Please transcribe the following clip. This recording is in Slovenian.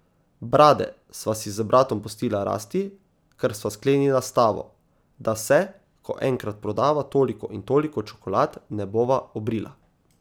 Brade sva si z bratom pustila rasti, ker sva sklenila stavo, da se, ko enkrat prodava toliko in toliko čokolad, ne bova obrila.